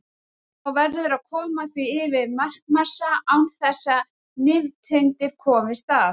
Þá verður að koma því yfir markmassa án þess að nifteindir komist að.